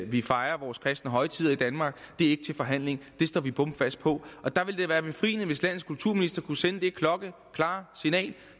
vi fejrer vores kristne højtider i danmark er ikke til forhandling det står vi bomfast på der ville det være befriende hvis landets kulturminister kunne sende det klokkeklare signal